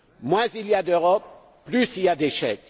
Moins il y a d'Europe, plus il y a d'échecs!